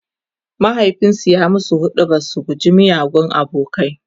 mahaifinsu ya musu huɗubar su guji miyagun abokanai